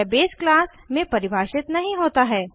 यह base class में परिभाषित नहीं होता है